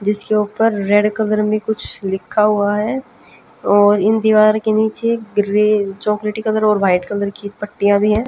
जिसके ऊपर red colour में कुछ लिखा हुआ है और इन दीवार के नीचे ग्रि चॉकलेटी कलर और व्हाइट कलर की पट्टियां भी है।